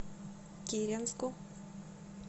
киренску